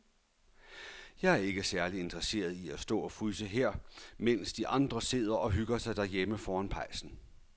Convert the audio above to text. Jeg er ikke særlig interesseret i at stå og fryse her, mens de andre sidder og hygger sig derhjemme foran pejsen.